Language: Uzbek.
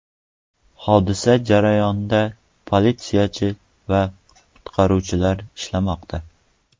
Hodisa joyida politsiyachi va qutqaruvchilar ishlamoqda.